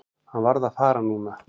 Hann varð að fara núna.